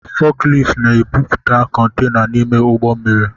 Fọkilift na-ebupute kontaina n’ime ụgbọ mmiri